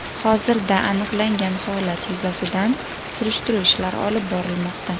Hozirda aniqlangan holat yuzasidan surishtiruv ishlari olib borilmoqda.